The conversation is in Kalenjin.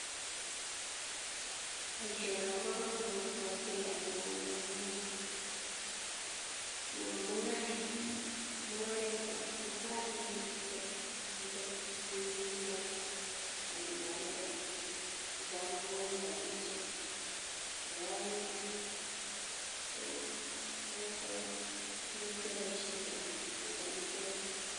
Boishono kobokomonut keyai amun mungaret kora ngo kaikes chito tukuk chito ak inyeialde ko kokonin rabishek, nebo oeng keboishen koik amitwokik.